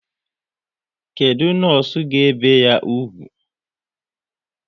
Kedụ nọọsụ ga ebi ya úgwù?